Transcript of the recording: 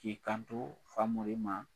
K'i kanto fagolo ma